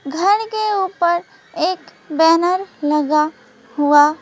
घर के ऊपर एक बैनर लगा हुआ--